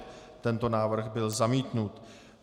Tento návrh byl zamítnut.